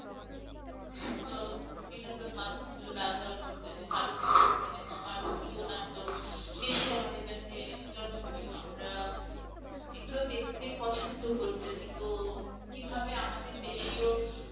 বিনোদন মাধ্যমগুলো ব্যবহার করতেছে। ভারতীয় cinema, ভারতীয় নাটক বেশি আমাদের কাছে জনপ্রিয় আমরা এগুলো দেখতেই পছন্দ করতেছি তো কিভাবে আমরা আমাদের দেশীয়